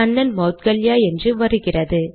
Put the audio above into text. கண்ணன் மௌத்கல்யா என்று வருகிறது